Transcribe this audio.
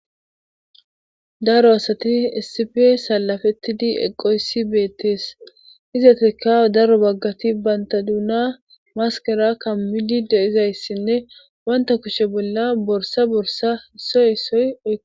daro asati essif salafettidi eqoyssi beettees izatekka daro baggati baynta duuna maskera kammidide izayssinne wanta kushe bolla borsa borsa issoy issoyo